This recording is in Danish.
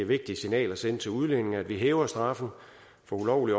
vigtigt signal at sende til udlændinge at vi hæver straffen for ulovlig